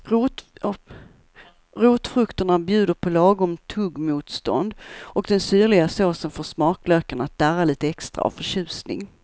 Rotfrukterna bjuder på lagom tuggmotstånd och den syrliga såsen får smaklökarna att darra lite extra av förtjusning.